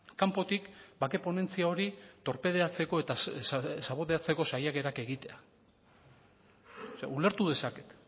kanpotik bake ponentzia hori torpedeatzeko eta saboteatzeko saiakerak egitea ulertu dezaket